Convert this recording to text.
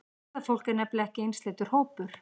Ferðafólk er nefnilega ekki einsleitur hópur.